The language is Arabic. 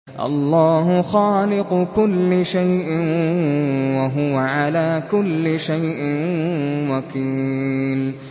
اللَّهُ خَالِقُ كُلِّ شَيْءٍ ۖ وَهُوَ عَلَىٰ كُلِّ شَيْءٍ وَكِيلٌ